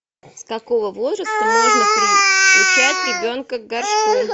с какого возраста можно приучать ребенка к горшку